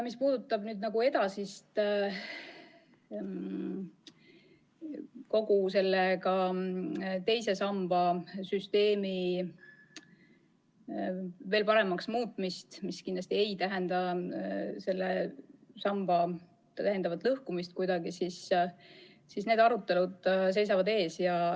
Mis puudutab edasist II samba süsteemi paremaks muutmist, mis kindlasti ei tähenda selle samba lõhkumist – need arutelud seisavad ees.